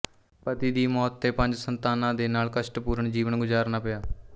ਪਤੀ ਦੀ ਮੌਤ ਤੇ ਪੰਜ ਸੰਤਾਨਾਂ ਦੇ ਨਾਲ ਕਸ਼ਟਪੂਰਨ ਜੀਵਨ ਗੁਜ਼ਾਰਨਾ ਪਿਆ